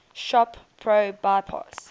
shop pro bypass